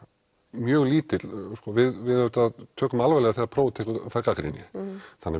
mjög lítill við auðvitað tökum alvarlega þegar prófið fær gagnrýni þannig